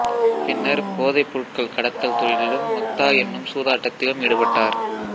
பின்னர் போதை பொருட்கள் கடத்தல் தொழிலும் மக்தா என்னும் சூதாட்டத்திலும் ஈடுபட்டார்